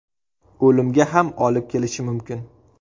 O‘limga ham olib kelishi mumkin.